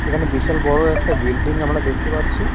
এখানে বিশাল বড় একটা বিল্ডিং আমরা দেখতে পাচ্ছি।